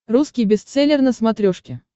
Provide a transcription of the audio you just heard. русский бестселлер на смотрешке